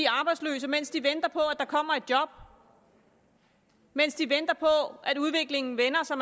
arbejdsløse mens de venter på at der kommer et job mens de venter på at udviklingen vender så